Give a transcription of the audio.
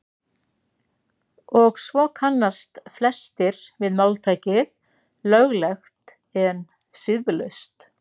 og svo kannast flestir við máltækið „löglegt en siðlaust“